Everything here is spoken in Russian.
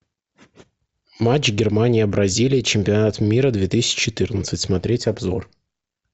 матч германия бразилия чемпионат мира две тысячи четырнадцать смотреть обзор